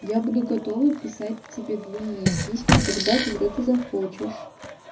я буду готова писать тебе длинные письма тогда когда ты захочешь